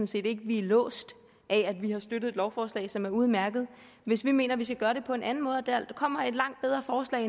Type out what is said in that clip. set ikke at vi er låst ved at vi har støttet et lovforslag som er udmærket hvis vi mener at vi skal gøre det på en anden måde og der kommer et langt bedre forslag